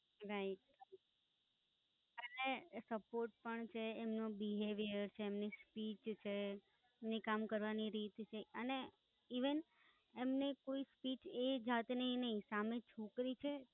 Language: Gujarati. Right. અને સપોર્ટ Right પણ છે, એમનું Behaviour છે, એમની Speech છે, એમની કામ કરવાની રીત છે. અને, Even, એમની કોઈ Speech એ જાતની નહિ સામે છોકરી છે